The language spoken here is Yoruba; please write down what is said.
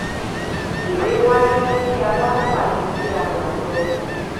èrè wáyé tí a bá tà ju bí a rà lọ.